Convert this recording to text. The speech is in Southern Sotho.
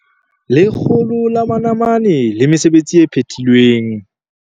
100 manamane le mesebetsi e phethilweng.